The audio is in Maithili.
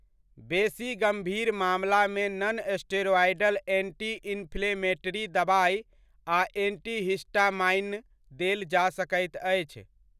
बेसी गम्भीर मामलामे नॉनस्टेरॉयडल एंटी इंफ्लेमेटरी दबाइ आ एंटीहिस्टामाइन देल जा सकैत अछि।